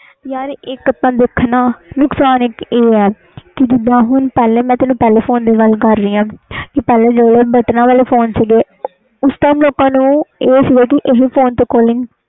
ਇਕ ਤੇ ਦੇਖਣਾ ਪਹਿਲੇ ਨੁਕਸਾਨ ਆਹ ਆ ਜਿਵੇ ਪਹਿਲੇ ਬਟਨ ਵਾਲੇ ਫੋਨ ਸੀ ਉਸ time ਲੋਕ ਨੂੰ ਇਹ ਸੀ ਕਿ ਇਹ ਫੋਨ ਤੇ calling